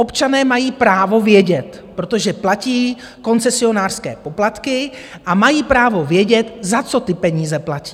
Občané mají právo vědět, protože platí koncesionářské poplatky, a mají právo vědět, za co ty peníze platí.